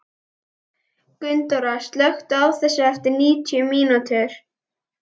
Gunndóra, slökktu á þessu eftir níutíu mínútur.